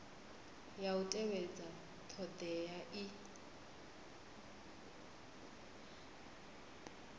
ya u tevhedza thodea i